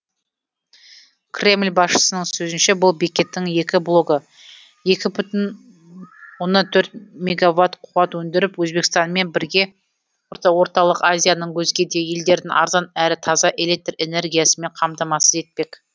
кремль басшысының сөзінше бұл бекеттің екі блогы екі бүтін оннан төрт мегаватт қуат өндіріп өзбекстанмен бірге орталық азияның өзге де елдерін арзан әрі таза электр энергиясымен қамтамасыз етпек